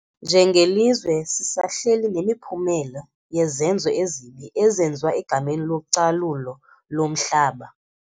Njengelizwe sisahleli nemiphumela yezenzo ezibi ezenziwa egameni localulo lomhlaba.